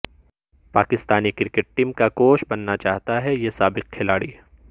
Pakistani cricket team کا coach بننا چاہتا ہے یہ سابق کھلاڑی